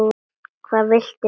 Hvað viltu mér?